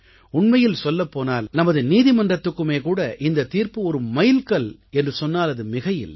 உண்மையில் சொல்லப் போனால் நமது நீதிமன்றத்துக்குமே கூட இந்தத் தீர்ப்பு ஒரு மைல்கல் என்று சொன்னால் அது மிகையில்லை